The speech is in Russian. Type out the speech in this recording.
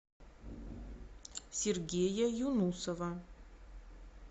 сергея юнусова